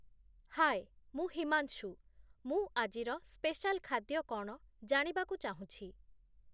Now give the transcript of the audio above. ହାଏ, ମୁଁ ହିମାଂଶୁ; ମୁଁ ଆଜିର ସ୍ପେଶାଲ୍‌ ଖାଦ୍ୟ କ'ଣ ଜାଣିବାକୁ ଚାହୁଁଛି